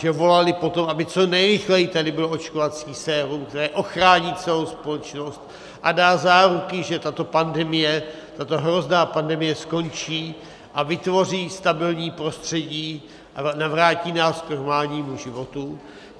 Že volali po tom, aby co nejrychleji tady bylo očkovací sérum, které ochrání celou společnost a dá záruky, že tato pandemie, tato hrozná pandemie skončí a vytvoří stabilní prostředí a navrátí nás k normálnímu životu.